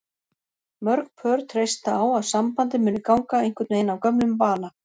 Mörg pör treysta á að sambandið muni ganga einhvern veginn af gömlum vana.